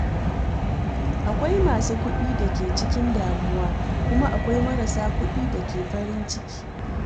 Akwai masu kuɗi da ke cikin damuwa, kuma akwai marasa kuɗi da ke farin ciki.